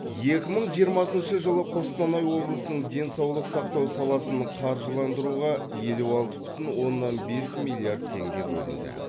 екі мың жиырмасыншы жылы қостанай облысының денсаулық сақтау саласының қаржыландыруға елу алты бүтін оннан бес миллиард теңге бөлінді